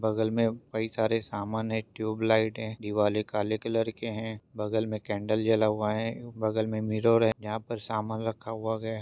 बगल में कही सारे सामान हैं ट्यूबलाइट हैं दीवाले काले कलर के हैं बगल में कैंडल जला हुआ है बगल में मिरर हैं जहाँ पर सामान रखा हुआ गया--